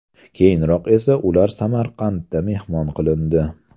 Keyinroq esa ular Samarqandda mehmon qilindi.